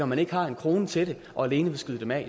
man ikke har en krone til det og alene vil skyde dem af